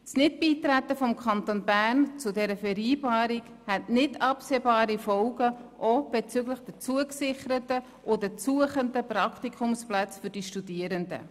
Das Nicht-Beitreten des Kantons Bern zu dieser Vereinbarung hätte nicht absehbare Folgen auch bezüglich der zugesicherten und der zu suchenden Praktikumsplätze für die Studierenden.